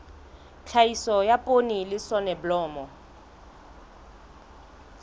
tlhahiso ya poone le soneblomo